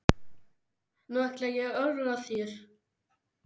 Nú ætla ég að ögra þér.